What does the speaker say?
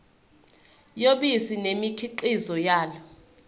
yobisi nemikhiqizo yalo